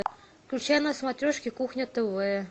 включай на смотрежке кухня тв